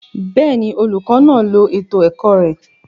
Bẹẹni, olukọ naa lo eto ẹkọ rẹ